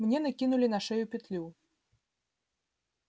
мне накинули на шею петлю